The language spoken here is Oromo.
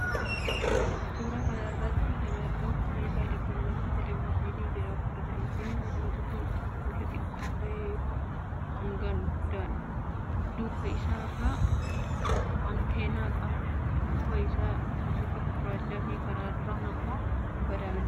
Suuraa kana irratti kan argamu meeshaa elektirooniksii teeleviizyinii jedhamuudha. Teeleviizyiniin mul'atu kun oomisha xiqqoo ture yoo ta'u hangaan guddaadha. Duuba isaa irraan 'anteenaa' qaba. Duuba isaan bifa gurraachaafi karaa duraan immoo bifa daalacha qaba.